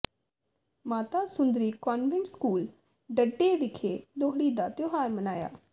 ਮਾਤਾ Sundari convent school Dhadde ਵਿਖੇ ਲੋਹੜੀ ਦਾ ਤਿਉਹਾਰ ਮਨਾਇਆ